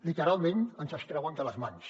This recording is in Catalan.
literalment ens els treuen de les mans